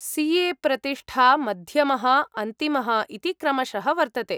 CA प्रतिष्ठा, मध्यमः, अन्तिमः इति क्रमशः वर्तते।